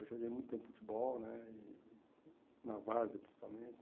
Eu joguei muito tempo futebol né e, na várzea principalmente.